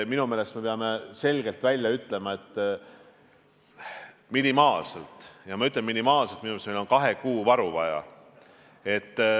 Minu meelest me peame selgelt välja ütlema, et minimaalselt – kordan, minimaalselt – meil on kahe kuu varu vaja.